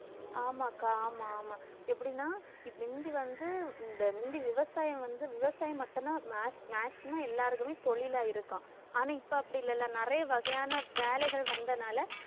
ஆமாக்கா ஆமா ஆமா எப்படின்னா? முந்தி வந்து இந்த முந்தி விவசாயம் வந்து விவசாயம் மட்டும்தான் ma~ maximum எல்லாருக்குமே தொழிலா இருக்கும், ஆனா இப்ப அப்படி இல்லல்ல நிறைய வகையான வேலைகள் வந்தனால